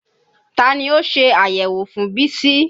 Ta ni ó ṣe àyẹ̀wò fún Bísí?